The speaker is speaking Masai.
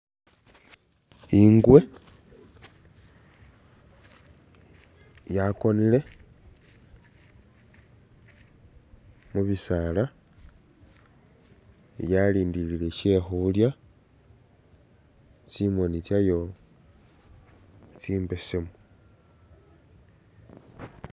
Ingwe yakonile mu bisaala yalindilile she khulya, tsimoni tsyayo tsimbesemu.